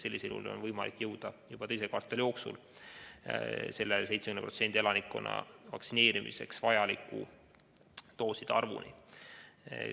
Sellisel juhul on võimalik juba teise kvartali jooksul jõuda 70% elanikkonna vaktsineerimiseks vajaliku dooside arvuni.